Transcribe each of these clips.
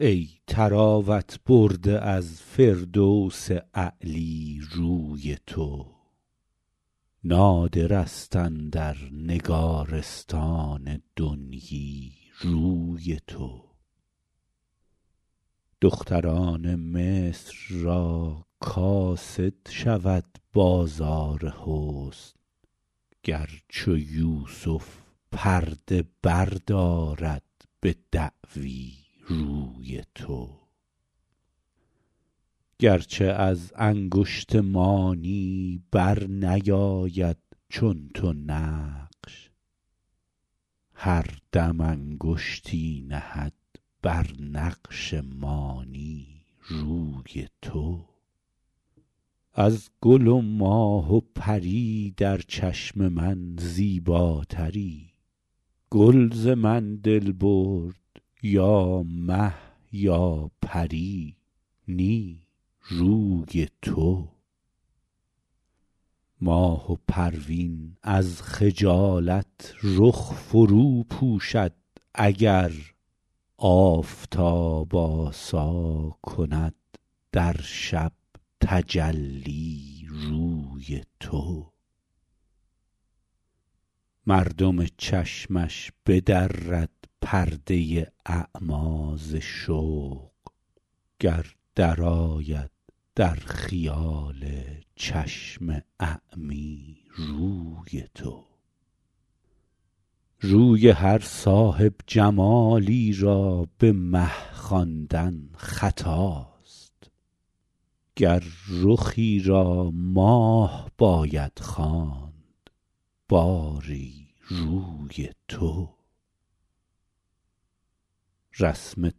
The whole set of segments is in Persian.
ای طراوت برده از فردوس اعلی روی تو نادر است اندر نگارستان دنیی روی تو دختران مصر را کاسد شود بازار حسن گر چو یوسف پرده بردارد به دعوی روی تو گر چه از انگشت مانی بر نیاید چون تو نقش هر دم انگشتی نهد بر نقش مانی روی تو از گل و ماه و پری در چشم من زیباتری گل ز من دل برد یا مه یا پری نی روی تو ماه و پروین از خجالت رخ فرو پوشد اگر آفتاب آسا کند در شب تجلی روی تو مردم چشمش بدرد پرده اعمی ز شوق گر درآید در خیال چشم اعمی روی تو روی هر صاحب جمالی را به مه خواندن خطاست گر رخی را ماه باید خواند باری روی تو رسم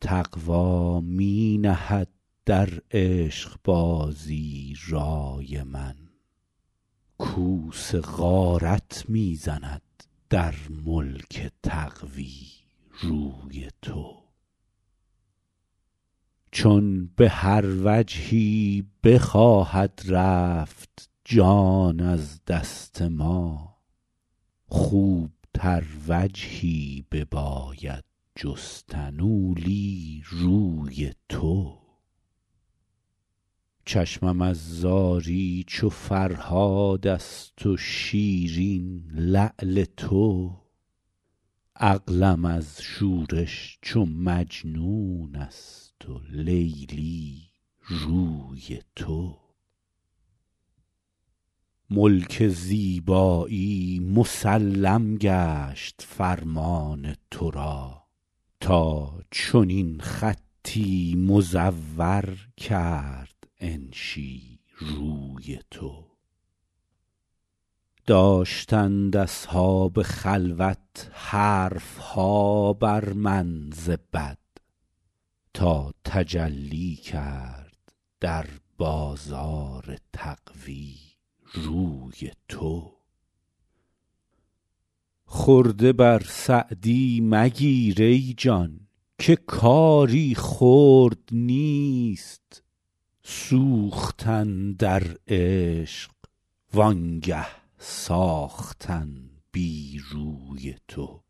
تقوی می نهد در عشق بازی رای من کوس غارت می زند در ملک تقوی روی تو چون به هر وجهی بخواهد رفت جان از دست ما خوب تر وجهی بباید جستن اولی روی تو چشمم از زاری چو فرهاد است و شیرین لعل تو عقلم از شورش چو مجنون است و لیلی روی تو ملک زیبایی مسلم گشت فرمان تو را تا چنین خطی مزور کرد انشی روی تو داشتند اصحاب خلوت حرف ها بر من ز بد تا تجلی کرد در بازار تقوی روی تو خرده بر سعدی مگیر ای جان که کاری خرد نیست سوختن در عشق وانگه ساختن بی روی تو